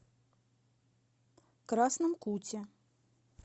красном куте